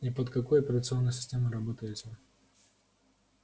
и под какой операционной системой работаете